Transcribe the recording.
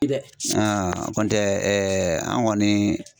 Dɛ kɔ tɛ ɛɛ an kɔni